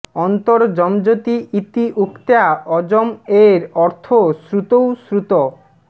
অন্তর্ যমযতি ইতি উক্ত্যা অযম্ এব অর্থঃ শ্রুতৌ শ্রুতঃ